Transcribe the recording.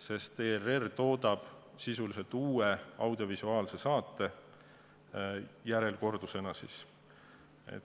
sest ERR toodab sisuliselt uue audiovisuaalse saate, seda kordusena.